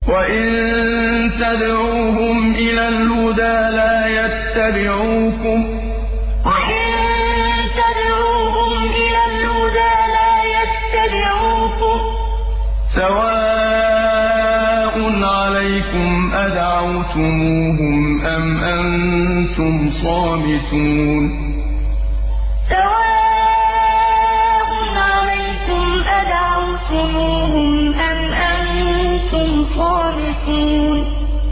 وَإِن تَدْعُوهُمْ إِلَى الْهُدَىٰ لَا يَتَّبِعُوكُمْ ۚ سَوَاءٌ عَلَيْكُمْ أَدَعَوْتُمُوهُمْ أَمْ أَنتُمْ صَامِتُونَ وَإِن تَدْعُوهُمْ إِلَى الْهُدَىٰ لَا يَتَّبِعُوكُمْ ۚ سَوَاءٌ عَلَيْكُمْ أَدَعَوْتُمُوهُمْ أَمْ أَنتُمْ صَامِتُونَ